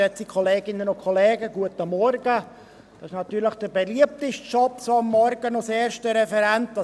Das ist natürlich der beliebteste Job, am Morgen als erster Referent zu sprechen: